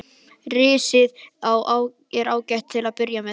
Risið er ágætt til að byrja með.